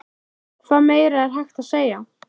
Hvað meira er hægt að segja?